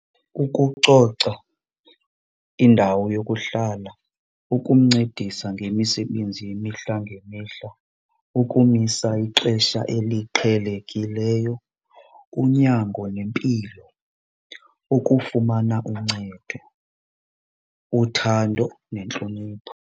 Ukucoca indawo yokuhlala, ukumncedisa ngemisebenzi yemihla ngemihla, ukumisa ixesha eliqhelekileyo, unyango nempilo, ukufumana uncedo, uthando, nentlonipho.